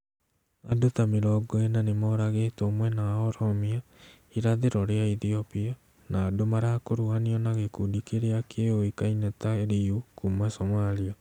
Andũ ta mĩrongo ĩna nĩmoragĩtwo mwena wa Oromia , irathĩro rĩa Ethiopia, na andũ marakuruhanio na gĩkundi kĩrĩa kĩũĩkaine ta Liyu kuma Somalia.